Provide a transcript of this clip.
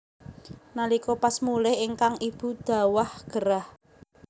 Nalika pas mulih ingkang ibu dhawah gerah